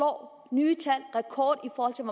hvor